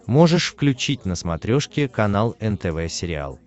можешь включить на смотрешке канал нтв сериал